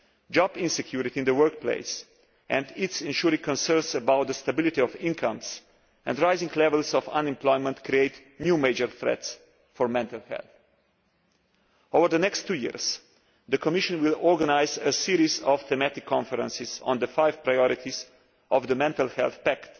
Job insecurity in the workplace, and its ensuing concerns over the stability of incomes and rising levels of unemployment, create new major threats for mental health. Over the next two years, the Commission will organise a series of thematic conferences on the five priorities of the mental health pact.